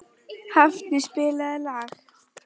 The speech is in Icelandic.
Hafni, spilaðu lag.